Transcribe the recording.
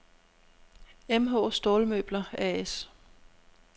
MH Stålmøbler A/S